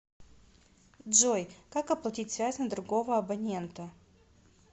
джой как оплатить связь на другого абонента